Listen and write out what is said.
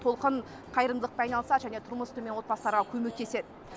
толқын қайырымдылықпен айналысады және тұрмысы төмен отбасыларға көмектеседі